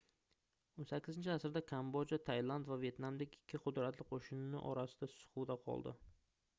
18-asrda kambodja tailand va vetnamdek ikki qudratli qoʻshnisi orasida siquvda qoldi